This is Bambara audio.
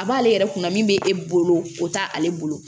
A b'ale yɛrɛ kunna min bɛ e bolo o t'ale bolo